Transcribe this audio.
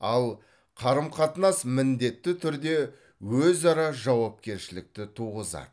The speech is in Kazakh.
ал қарым қатынас міндетті түрде өзара жауапкершілікті туғызады